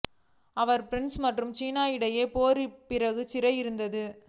அவர் France மற்றும் சீனா இடையே போர் பிறகு சிறையில் இருந்தார்